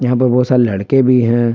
यहां पे बहुत सारे लड़के भी हैं।